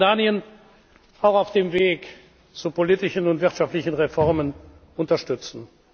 Wir wollen Jordanien auch auf dem Weg zu politischen und wirtschaftlichen Reformen unterstützen.